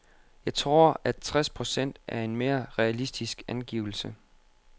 Jeg tror, at tres procent er en mere realistisk angivelse.